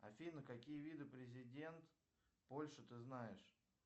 афина какие виды президент польши ты знаешь